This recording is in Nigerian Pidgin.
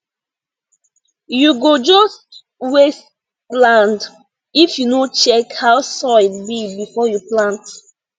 you go just waste land if you no check how soil be before you plant